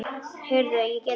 Heyrðu, ég get ekki beðið.